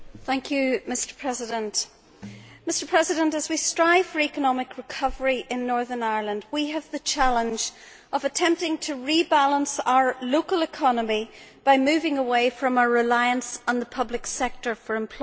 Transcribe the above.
Mr President, as we strive for economic recovery in Northern Ireland, we face the challenge of attempting to rebalance our local economy by moving away from a reliance on the public sector for employment.